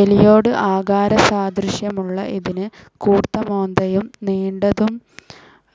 എലിയോട് ആകാരസാദൃശ്യമുള്ള ഇതിന് കൂർത്ത മോന്തയും, നീണ്ടതും